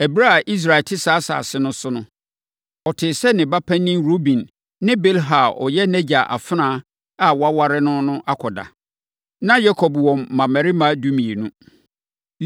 Ɛberɛ a Israel te saa asase no so no, ɔtee sɛ ne ba panin Ruben ne Bilha a ɔyɛ nʼagya afenaa a waware no no akɔda. Na Yakob wɔ mmammarima dumienu: